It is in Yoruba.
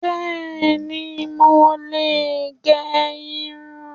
Bẹ́ẹ̀ni, mo lè gẹ irun